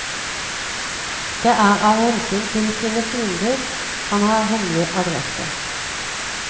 Det er av hensyn til sine fiender han har hemmelig adresse.